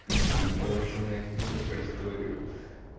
в принципе и полноценная книга про историю